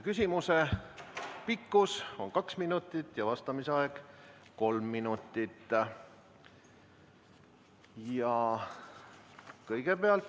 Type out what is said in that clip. Küsimuse pikkus on kaks minutit ja vastamise aeg kolm minutit.